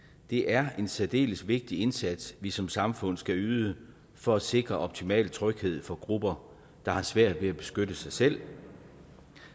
det er en særdeles vigtig indsats vi som samfund skal yde for at sikre optimal tryghed for grupper der har svært ved at beskytte sig selv